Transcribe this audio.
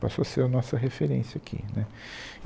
Passou a ser a nossa referência aqui, né